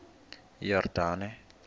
yordane